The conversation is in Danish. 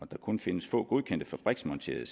der kun findes få godkendte fabriksmonterede